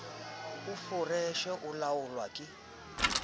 a foreshe e laolwang ke